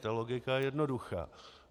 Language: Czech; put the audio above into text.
Ta logika je jednoduchá.